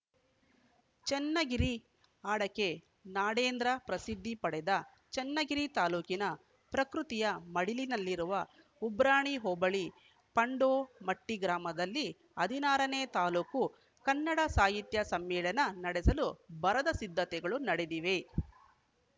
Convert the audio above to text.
ಚನ್ನಗಿರಿ ಅಡಕೆ ನಾಡೆಂದೇ ಪ್ರಸಿದ್ಧಿ ಪಡೆದ ಚನ್ನಗಿರಿ ತಾಲೂಕಿನ ಪ್ರಕೃತಿಯ ಮಡಿಲಿನಲ್ಲಿರುವ ಉಬ್ರಾಣಿ ಹೋಬಳಿ ಪಾಂಡೋಮಟ್ಟಿಗ್ರಾಮದಲ್ಲಿ ಹದಿನಾರನೇ ತಾಲೂಕು ಕನ್ನಡ ಸಾಹಿತ್ಯ ಸಮ್ಮೇಳನ ನಡೆಸಲು ಭರದ ಸಿದ್ಧತೆಗಳು ನಡೆದಿವೆ